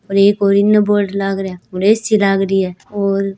और एक और इने बोर्ड लाग रा ए.सी. लाग री है और --